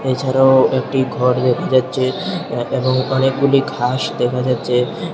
এছাড়াও একটি ঘর দেখা যাচ্ছে এবং অনেকগুলি ঘাস দেখা যাচ্ছে।